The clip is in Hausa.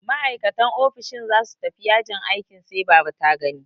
Ma'aikatan ofishin za su tafi yajin aikin sai baba ta gani.